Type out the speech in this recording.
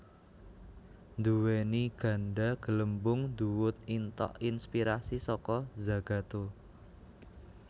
nduweni ganda gelembung nduwut intok inspirasi saka Zagato